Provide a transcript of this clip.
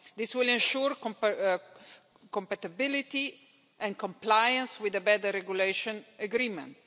This will ensure compatibility and compliance with the better regulation agreement.